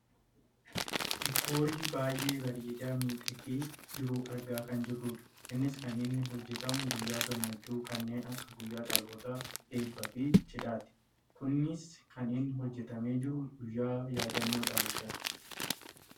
diikoorii baayyee bareedee midhagee jiru argaa kan jirrudha. innis kan inni hojjatamu guyyaa gammachuu kanneen akka guyyaa dhalootaa , eebbaa fi cidhaati. kunis kan inni hojjatamee jiru guyyaa yaaddannoo dhalootaati.